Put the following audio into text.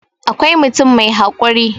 akwai mutum mai haƙuri